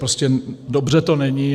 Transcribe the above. Prostě dobře to není.